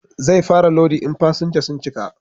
Zai fara lodi in fasinja sun cika